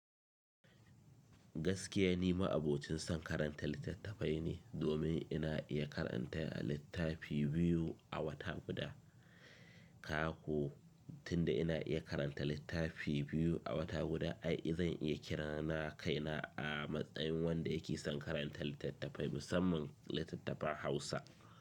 Gaskiya ni, ma'abocin son karanta littattafai ne. Domin ina iya karanta littafi biyu a wata guda. Kaga ko tunda ina iya karanta littafi biyu a wata guda, ai zan iya kiran kaina a matsayin wanda yake son karanta littattafai musamman littattafan Hausa.